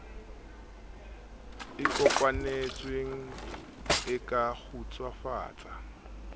e kopanetsweng e ka kgutsufatsa